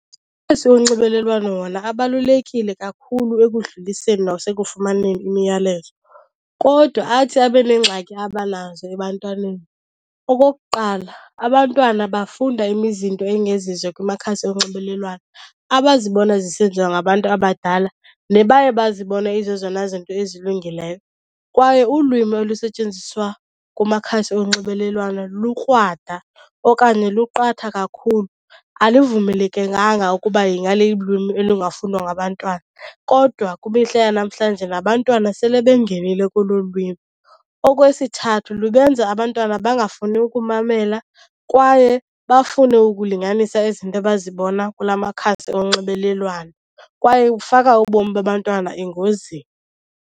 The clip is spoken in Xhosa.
wonxibelelwano wona abalulekile kakhulu ekudluliseni nasekufumaneni imiyalezo kodwa athi abe neengxaki abanazo ebantwaneni. Okokuqala abantwana bafunda engezizo kumakhasi onxibelelwano abazibona zisenziwa ngabantu abadala, nebaye bazibone izezona zinto ezilungileyo. Kwaye ulwimi olusetyenziswa kumakhasi onxibelelwano lukrwada okanye luqatha kakhulu, alivumelekekanga ukuba ingalilwimi elungafundwa ngabantwana. Kodwa kwimihla yanamhlanje nabantwana sele bengenile kolu olu lwimi. Okwesithathu lubenza abantwana bangafuni ukumamela kwaye bafune ukulinganisa izinto abazibona kulaa makhasi onxibelelwano, kwaye kufaka ubomi babantwana engozini.